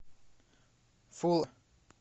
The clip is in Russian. фулл